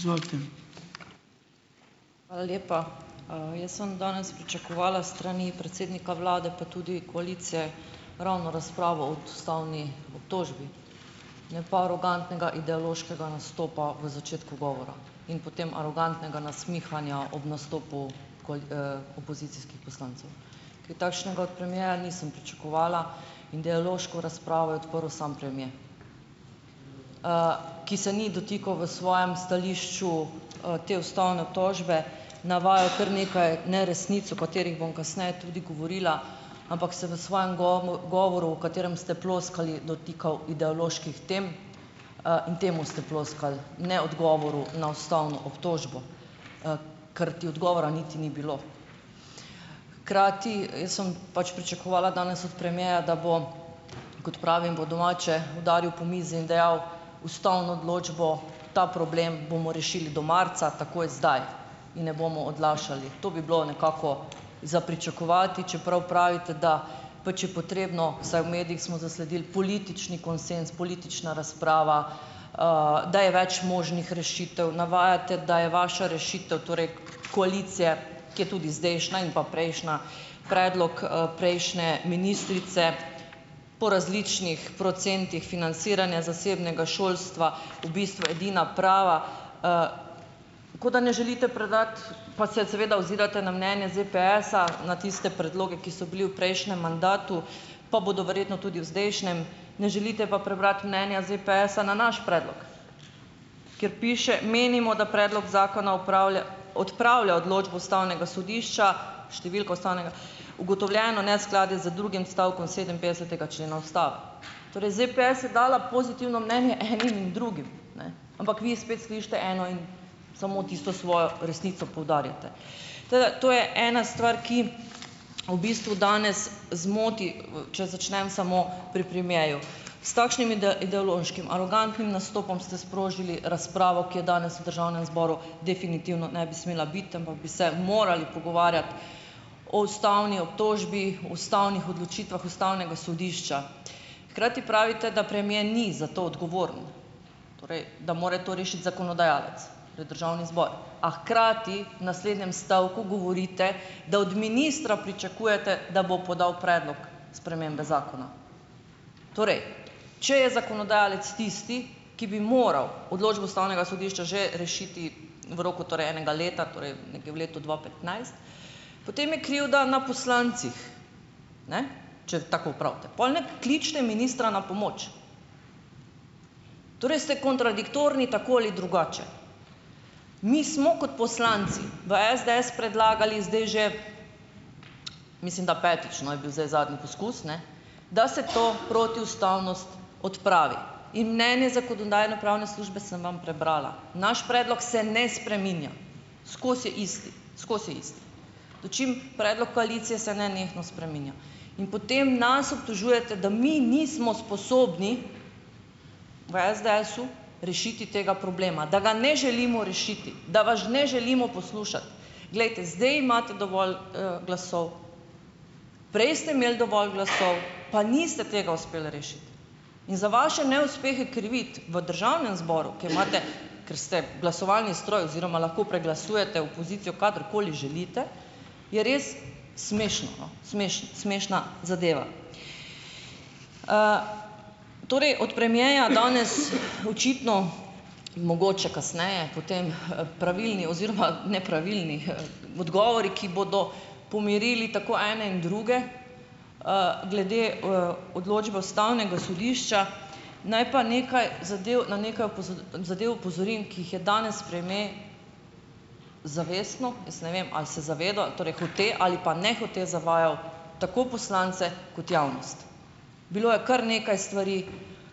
Hvala lepa. Jaz sem danes pričakovala s strani predsednika vlade pa tudi koalicije ravno razpravo od ustavni obtožbi, ne pa arogantnega ideološkega nastopa v začetku govora in potem arogantnega nasmihanja ob nastopu opozicijskih poslancev. Kaj takšnega od premiera nisem pričakovala. Ideološko razpravo je odprl samo premier, ki se ni dotikal v svojem stališču te ustavne obtožbe, navajal je kar nekaj neresnic, o katerih bom kasneje tudi govorila, ampak se v svojem govoru v katerem ste ploskali, dotikal ideoloških tem in temu ste ploskali, ne odgovoril na ustavno obtožbo, karti odgovora niti ni bilo. Hkrati jaz sem pač pričakovala danes od premiera, da bo, kot pravim po domače, udaril po mizi in dejal, ustavno odločbo, ta problem bomo rešili do marca, takoj zdaj in ne bomo odlašali. To bi bilo nekako za pričakovati, čeprav pravite, da pač je potrebno, vsaj v medijih smo zasledil, politični konsenz, politična razprava, da je več možnih rešitev. Navajate, da je vaša rešitev, torej koalicije, ki je tudi zdajšnja in pa prejšnja, predlog prejšnje ministrice po različnih procentih financiranja zasebnega šolstva v bistvu edina prava, kot da ne želite predati, pa se seveda ozirate na mnenje ZEPEES-a, na tiste predloge, ki so bili v prejšnjem mandatu, pa bodo verjetno tudi v zdajšnjem, ne želite pa prebrati mnenja ZEPEES-a na naš predlog, kjer piše, menimo, da predlog zakona odpravlja odločbo Ustavnega sodišča, številko ustavnega, ugotovljeno neskladje z drugim odstavkom sedeminpetdesetega člena Ustave. Torej ZEPEES je dala pozitivno mnenje enim in drugim, ne, ampak vi spet slišite eno in samo tisto svojo resnico poudarjate. Tako da, to je ena stvar, ki v bistvu danes zmoti, če začnem samo pri premierju. S takšnim ideološkim, arogantnim nastopom ste sprožili razpravo, ki je danes v Državnem zboru definitivno ne bi smela biti, ampak bi se morali pogovarjati o ustavni obtožbi, ustavnih odločitvah Ustavnega sodišča. Hkrati pravite, da premier ni za to odgovoren, torej, da more to rešiti zakonodajalec, to je Državni zbor, a hkrati v naslednjem stavku govorite, da od ministra pričakujete, da bo podal predlog spremembe zakona. Torej, če je zakonodajalec tisti, ki bi moral odločbo Ustavnega sodišča že rešiti v roku torej enega leta, torej nekje v letu dva petnajst, potem je krivda na poslancih, ne, če tako pravite. Pol ne kličite ministra na pomoč. Torej ste kontradiktorni, tako ali drugače. Mi smo kot poslanci v SDS predlagali zdaj že, mislim, da petič, no, je bil zdaj zadnji poskus, ne, da se to protiustavnost odpravi in mnenje Zakonodajno-pravne službe sem vam prebrala. Naš predlog se ne spreminja, skozi je isti, skozi je isti. Dočim predlog koalicije se nenehno spreminja. In potem nas obtožujete, da mi nismo sposobni v SDS-u rešiti treba problema, da ga ne želimo rešiti, da vas ne želimo poslušati. Glejte, zdaj imate dovolj glasov, prej ste imeli dovolj glasov, pa niste tega uspel rešiti. In za vaše neuspehe kriviti v Državnem zboru, kjer imate, ker ste glasovalni stroj oziroma lahko preglasujete opozicijo kadarkoli želite, je res smešno, no, smešna zadeva. Torej, od premierja danes očitno, mogoče kasneje, potem pravilni oziroma nepravilni odgovori, ki bodo pomirili tako ene in druge, glede odločbe Ustavnega sodišča. Naj pa na nekaj zadev na nekaj zadev opozorim, ki jih je danes premier zavestno - jaz ne vem, ali se zaveda - torej, hote ali pa nehote zavajal tako poslance kot javnost. Bilo je kar nekaj stvari,